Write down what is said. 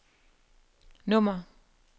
nummer